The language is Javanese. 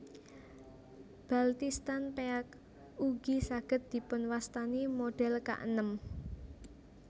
Baltistan Peak ugi saged dipun wastani modhel kaenem